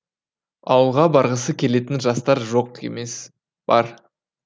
ауылға барғысы келетін жастар жоқ емес бар